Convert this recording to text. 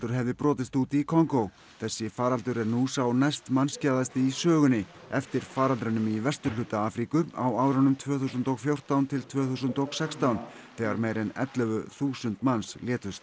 hefði brotist út í Kongó þessi faraldur er nú sá næstmannskæðasti í sögunni eftir faraldrinum í vesturhluta Afríku á árunum tvö þúsund og fjórtán til tvö þúsund og sextán þegar meira en ellefu þúsund manns létust